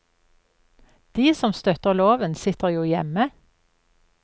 De som støtter loven, sitter jo hjemme.